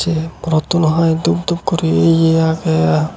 rottuno hoi dhup dhup guri iye agey.